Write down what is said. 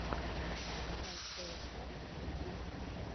поставь тсн ютуб